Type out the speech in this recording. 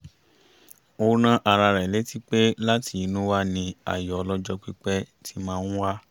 ó rán ara rẹ̀ létí pé láti inú wá ní ayọ̀ ọlọ́jọ́ pípẹ́ ti máa ń wá